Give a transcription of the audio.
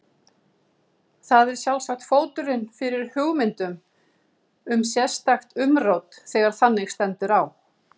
Það er sjálfsagt fóturinn fyrir hugmyndum um sérstakt umrót þegar þannig stendur á.